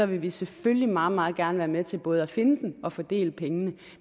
vil vi selvfølgelig meget meget gerne være med til både at finde den og fordele pengene